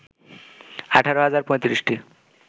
১৮ হাজার ৩৫টি